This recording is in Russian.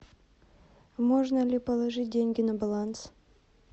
можно ли положить деньги на баланс